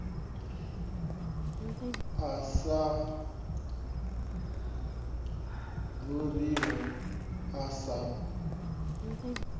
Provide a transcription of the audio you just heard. a sa ḓuriho a sa